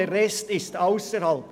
der Rest geschieht ausserhalb.